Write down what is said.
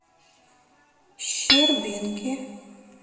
щербинки